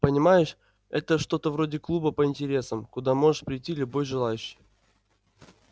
понимаешь это что-то вроде клуба по интересам куда может прийти любой желающий